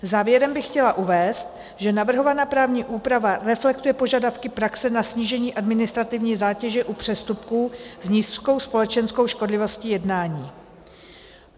Závěrem bych chtěla uvést, že navrhovaná právní úprava reflektuje požadavky praxe na snížení administrativní zátěže u přestupků s nízkou společenskou škodlivostí jednání.